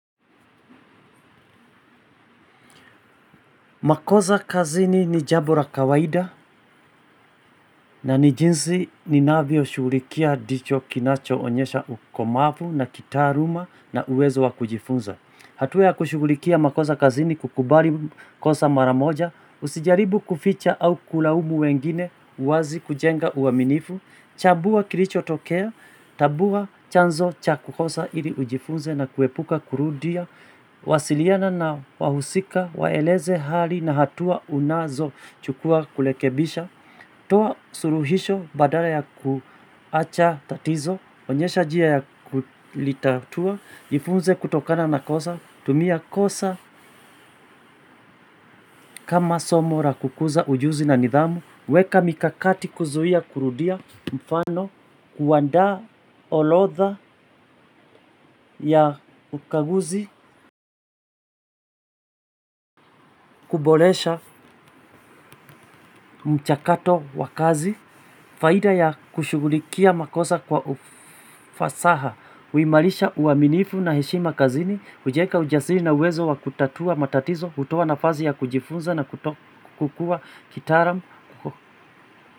Makosa kazini ni jambo la kawaida na ni jinsi ni navyoshughulikia ndicho kinacho onyesha ukomavu na kitaaluma na uwezo wa kujifunza. Hatua ya kushughulikia makosa kazini ni kukubali kosa mara moja, usijaribu kuficha au kulaumu wengine, uwazi kujenga uaminifu, tambua kilicho tokea, tambua chanzo cha kukosa ili ujifunze na kuepuka kurudia, wasiliana na wahusika, waeleze hali na hatua unazo chukua kurekebisha. Toa suluhisho badala ya kuacha tatizo, onyesha njia ya kulitatua, jifunze kutokana na kosa, tumia kosa kama somo la kukuza ujuzi na nidhamu, weka mikakati kuzuia kurudia mfano, kuandaa orodha ya ukaguzi, kuboresha mchakato wa kazi. Faida ya kushughulikia makosa kwa ufasaha huimarisha uaminifu na heshima kazini hujenga ujasiri na uwezo wa kutatua matatizo hutoa nafasi ya kujifunza na kukua kitaalam.